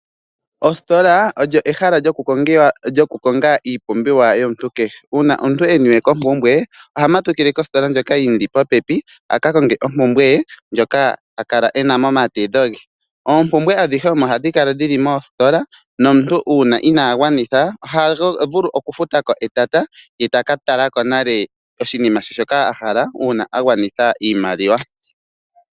Ositola olyo ehala lyokukonga iipumbiwa yomuntu kehe. Uuna omuntu e niwe kompumbwe oha matukile kositola ndjoka yi mu li popepi a ka konge ompumbwe ye ndjoka a kala e na momatedho ge. Oompumbwe adhihe ohadhi omo hadhi kala dhi li moositola nomuntu uuna inaa gwanitha oha vulu okufuta ko etata ye ta ka tala ko nale oshinima she shoka a hala uuna a gwanitha iimaliwa.